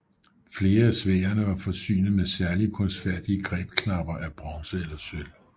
Flere af sværdene var forsynet med særligt kunstfærdige grebknapper af bronze eller sølv